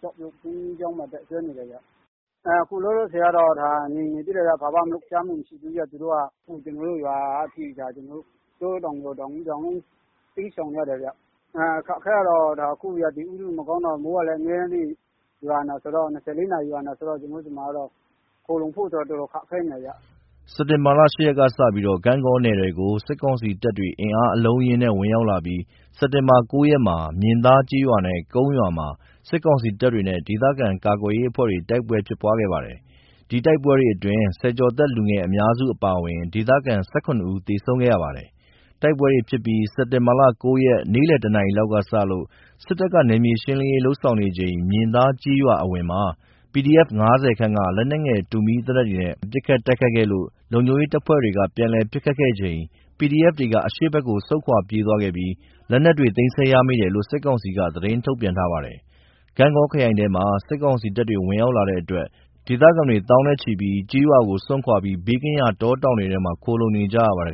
ကျောက်ပြုတ်ဘုန်းကြီးကျောင်းမှာ တပ်စွဲနေတယ်ခင်ဗျ။ အခုလောလောဆယ်တော့ ငြိမ်နေသေးတယ်။ ဘာမှ လှုပ်ရှားမှုမရှိသေးဘူး။ ကျွန်တော်တို့ရွာက တောထဲတောင်ထဲမှာ တိမ်းရှောင်နေရတယ်။ အခက်အခဲကတော့ အခုရာသီဥတုမကောင်းတော့ မိုးက ၂၄ နာရီ ရွာနေတော့ ခိုလှုံဖို့ အတော်ခက်ခဲနေတယ်ခင်ဗျ။” စက်တင်ဘာ ၈ ရက်ကစပြီး ဂန့်ဂေါနယ်ထဲကို စစ်ကောင်စီတပ်တွေ အင်အားအလုံးအရင်းနဲ့ ဝင်ရောက်လာပြီး စက်တင်ဘာ ၉ ရက်မှာ မြင်သားကျေးရွာနဲ့ ကုန်းရွာမှာ စစ်ကောင်စီတပ်တွေနဲ့ ဒေသခံ ကာကွယ်ရေးအဖွဲ့တွေ တိုက်ပွဲဖြစ်ပွားခဲ့ပါတယ်။ အဲဒီတိုက်ပွဲတွေအတွင်း ဆယ်ကျော်သက် လူငယ်အများစုအပါအဝင် ဒေသခံ ၁၇ ဦးသေဆုံးခဲ့ပါတယ်။ တိုက်ပွဲတွေဖြစ်ပြီး စက်တင်ဘာ ၉ ရက် နေ့လည် ၁ နာရီလောက်ကစလို့ စစ်တပ်က နယ်မြေရှင်းလင်းရေး လုပ်ဆောင်နေချိန် မြင်သားကျေးရွာအဝင်မှာ PDF ၅၀ ခန့်က လက်နက်ငယ် တူမီးသေနတ်တွေနဲ့ ပစ်ခတ်တိုက်ခိုက်ခဲ့လို့ လုံခြုံရေးတပ်ဖွဲ့တွေက ပြန်လည်ပစ်ခတ်ခဲ့ချိန် PDFေတွေက အရှေ့ဘက်ကို ဆုတ်ခွာ ထွက်ပြေးသွားခဲ့ပြီး လက်နက်တွေ သိမ်းဆည်းရမိတယ်လို့ စစ်ကောင်စီက သတင်းထုတ်ပြန်ထားပါတယ်။ ဂန့်ဂေါခရိုင်ထဲမှာ စစ်ကောင်စီတပ်တွေ ဝင်ရောက်လာတဲ့အတွက် ဒေသခံ သောင်းနဲ့ချီဟာ ကျေးရွာတွေကို စွန့်ခွါပြီး ဘေးကင်းရာတောတောင်တွေထဲမှာ ခိုလှုံနေရပါတယ်